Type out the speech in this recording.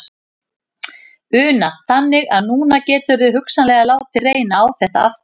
Una: Þannig að núna geturðu hugsanlega látið reyna á þetta aftur?